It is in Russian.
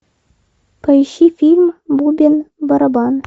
поищи фильм бубен барабан